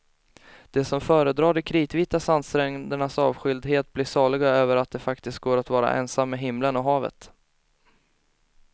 De som föredrar de kritvita sandsträndernas avskildhet blir saliga över att det faktiskt går att vara ensam med himlen och havet.